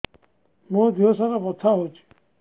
ମୋ ଦିହସାରା ବଥା ହଉଚି